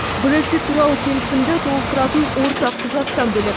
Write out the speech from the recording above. брексит туралы келісімді толықтыратын ортақ құжаттан бөлек